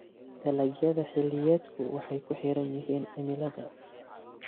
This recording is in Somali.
Dalagyada xilliyeedku waxay ku xiran yihiin cimilada.